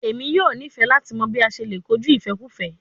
Emi yoo nifẹ lati mọ bi a ṣe le koju ifẹkufẹ